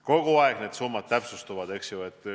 Kogu aeg need summad täpsustuvad.